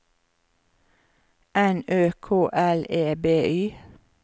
N Ø K L E B Y